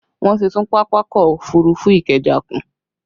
Wọn ti tún Pápákọ̀ òfurufú Ikeja kùn